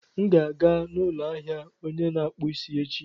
M ga-aga n'ụlọ ahịa onye na-akpụ isi echi.